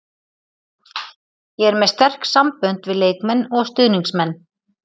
Ég er með sterk sambönd við leikmenn og stuðningsmenn.